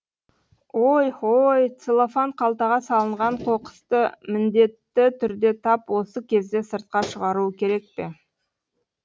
ой хой целлофан қалтаға салынған қоқысты міндетті түрде тап осы кезде сыртқа шығаруы керек пе